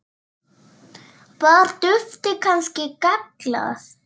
Var duftið kannski gallað?